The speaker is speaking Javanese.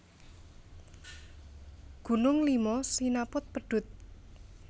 Gunung Lima sinaput pedhut